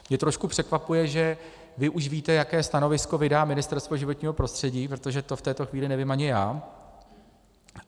Mně trošku překvapuje, že vy už víte, jaké stanovisko vydá Ministerstvo životního prostředí, protože to v této chvíli nevím ani já.